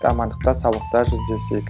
амандықта саулықта жүздесейік